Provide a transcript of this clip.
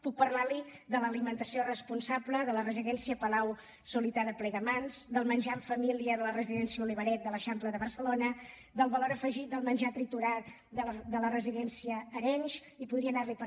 puc parlar li de l’alimentació responsable de la residència de palau solità i plegamans del menjar en família de la residència olivaret de l’eixample de barcelona del valor afegit del menjar triturat de la residència arenys i podria anar li